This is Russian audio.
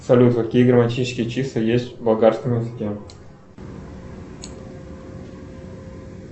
салют какие грамматические числа есть в болгарском языке